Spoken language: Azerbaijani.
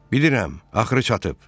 Bilirəm, axırı çatıb.